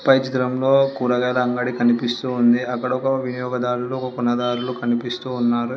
పై చిత్రంలో కూరగాయల అంగడి కనిపిస్తుంది అక్కడ ఒక వినియోగదారులు ఉపనదారులు కనిపిస్తున్నారు.